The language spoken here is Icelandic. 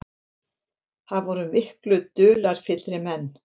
Það voru miklu dularfyllri menn.